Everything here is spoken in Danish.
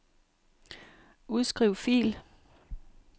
Udskriv fil.